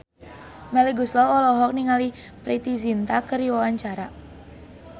Melly Goeslaw olohok ningali Preity Zinta keur diwawancara